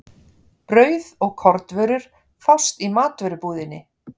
Brauð og kornvörur fást í matvörubúðinni.